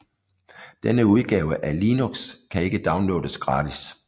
Denne udgave af Linux kan ikke downloades gratis